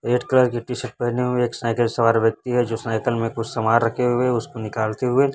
red colour की t-shirt पहने हुए एक साइकल सवार व्यक्ति है जो साईकल में कुछ समान रखे हुए है उसको निकलते हुए__